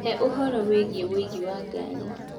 He ũhoro wĩgiĩ ũingĩ wa ngari